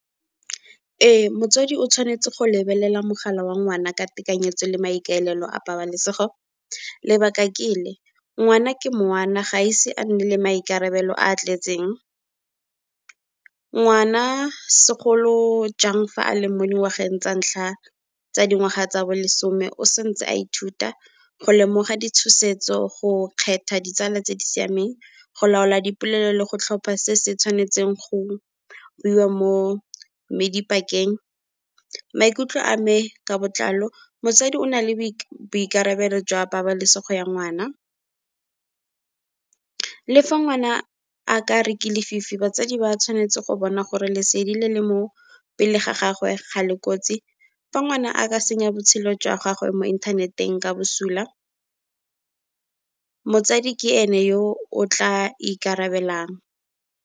Ee motswadi o tshwanetse go lebelela mogala wa ngwana ka tekanyetso le maikaelelo a pabalesego. Lebaka ke le, ngwana ke ngwana ga ise a nne le maikarabelo a tletseng, ngwana segolo jang fa a leng mo dingwageng tsa ntlha tsa dingwaga tsa bolesome o santse a ithuta go lemoga ditshosetso, go kgetha ditsala tse di siameng, go laola dipolelo le go tlhopha se se tshwanetseng, go buiwa mo . Maikutlo a me ka botlalo motsadi o nale boikarabelo jwa pabalesego ya ngwana, le fa ngwana a ka re ke lefifi batsadi ba tshwanetse go bona gore lesedi le le mo pele ga gagwe ga le kotsi. Fa ngwana a ka senya botshelo jwa gagwe mo inthaneteng ka bosula motsadi ke ene yo o tla ikarabelang.